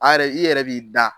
A yɛrɛ, i yɛrɛ b'i da.